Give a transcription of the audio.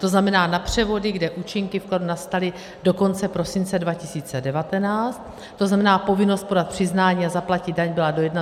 To znamená na převody, kde účinky vkladu nastaly do konce prosince 2019, to znamená povinnost podat přiznání a zaplatit daň byla do 31. března.